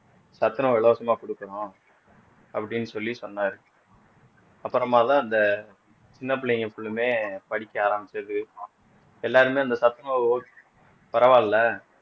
சத்துணவு இலவசமா கொடுக்கறோம் அப்படின்னு சொல்லி சொன்னாரு அப்புறமாதான் அந்த சின்ன பிள்ளைங்க full லுமே படிக்க ஆரம்பிச்சது எல்லாருமே அந்த சத்துணவு பரவாயில்லை